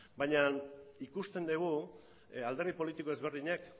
baina ikusten dugu alderdi politiko ezberdinek